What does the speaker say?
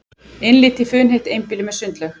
Innlit í funheitt einbýli með sundlaug